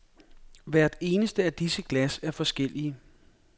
Hvert eneste af disse glas er forskellige.